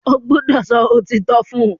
O gbódò so òtítọ fún!